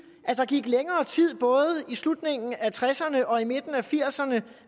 at der gik længere tid både i slutningen af nitten tresserne og i midten af nitten firserne